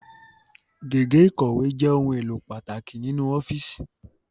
Gègé ikọ̀wé jẹ ohun èlò pàtàkì ni inu ọ́fíìsì